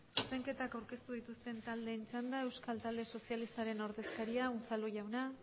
zuzenketako aurkeztu dituzten taldeen txanda euskal talde sozialistaren ordezkaria unzalu jauna